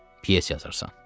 Pyes yazırsan.